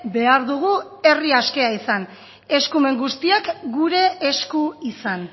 behar dugu herri askea izan eskumen guztiak gure esku izan